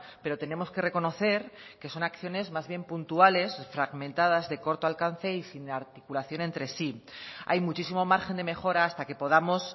pero tenemos que reconocer que son acciones más bien puntuales fragmentadas de corto alcance y sin articulación entre sí hay muchísimo margen de mejora hasta que podamos